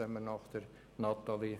Dies zu meiner Grösse.